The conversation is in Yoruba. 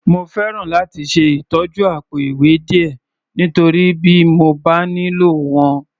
Mo fẹ́ràn láti ṣe ìtọ́jú àpò-ìwé díẹ̀, nítorí bí mo bá nílò wọn.